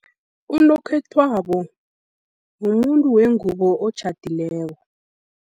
Unokhethwabo, mumuntu wengubo otjhadileko.